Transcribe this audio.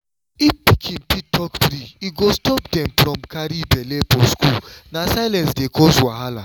if pikin fit talk free e go stop dem from carry belle for school na silence dey cause wahala